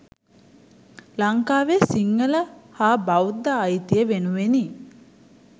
ලංකාවේ සිංහල හා බෞද්ධ අයිතිය වෙනුවෙනි.